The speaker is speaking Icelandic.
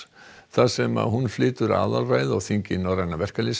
þar sem hún flytur aðalræðu á þingi Norræna